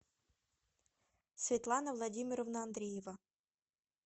светлана владимировна андреева